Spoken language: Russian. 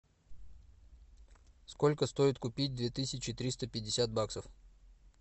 сколько стоит купить две тысячи триста пятьдесят баксов